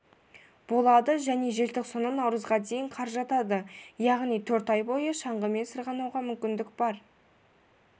болады және желтоқсаннан наурызға дейін қар жатады яғни төрт ай бойы шаңғымен сырғанауға мүмкіндік бар